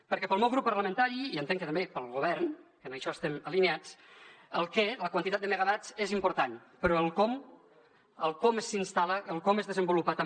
perquè pel meu grup parlamentari i entenc que també pel govern en això estem alineats el què la quantitat de megawatts és important però el com el com s’instal·la el com es desenvolupa també